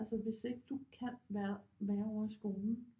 Altså hvis ikke du kan være ovre i skolen